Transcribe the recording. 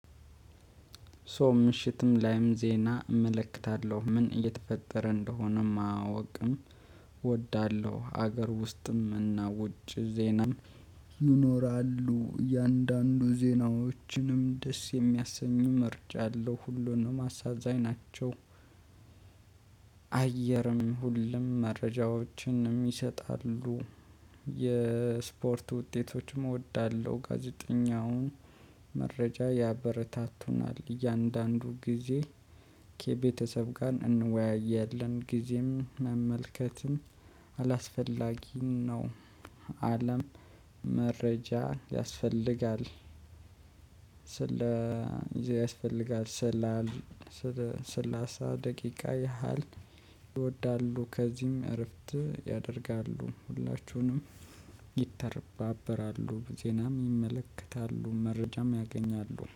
ሶ ምሽትም ላይም ዜና እመለከታለሁ ምን እየተፈጠረ እንደሆነም ማወቅም እወዳለሁ። ሀገር ውስጥም እና ውጭ ዜናም ይኖራሉ። እያንዳንዱ ዜናዎችንም ደስ የሚያሰኙ መርጫለው ሁሉንም አሳዛኝ ናቸው። አየርም ሁሉም መረጃዎችንም ይሰጣሉ። የስፖርት ውጤቶችም እወዳለሁ። ጋዜጠኛውን መረጃ ያበረታቱናል እያንዳንዱ ጊዜ ኬቤተሰብ ጋር እንወያያለን። ጊዜም መመልከትም አላስፈላጊም ነው። አለም መረጃ ያስፈልጋል። ስለዚህ ያስፈልጋል ስላል ሰላሳ ደቂቃ ያህል ይወዳሉ። ከዚህም እረፍት ያደርጋሉ ሁላችሁንም ይተባበራሉ። ዜናም ይመለከታሉ መረጃም ያገኛሉ